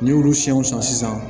N'i y'olu siyɛnw san sisan